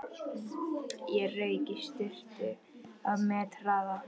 Ég rauk í sturtu á methraða.